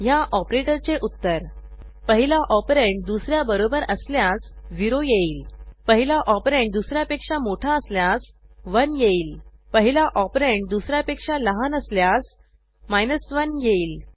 ह्या ऑपरेटर चे उत्तर पहिला ऑपरंड दुस याबरोबर असल्यास 0 येईल पहिला ऑपरंड दुस यापेक्षा मोठा असल्यास 1 येईल पहिला ऑपरंड दुस यापेक्षा लहान असल्यास 1 येईल